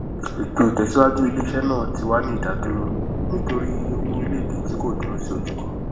ètò ìtẹsíwájú iléiṣẹ náà ti wà ní ìdádúró nítorí iye owó orílẹèdè tí kò dúró sí ojú kan